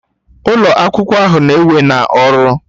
Ụlọ akwụkwọ ahụ na-ewe na ọrụ